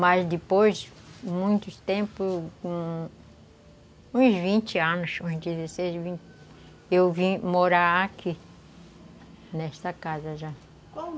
Mas depois, muito tempo, uns vinte anos, uns dezesseis, vinte, eu vim morar aqui nesta casa já. Qual o nome